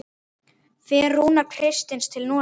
Fer Rúnar Kristins til Noregs?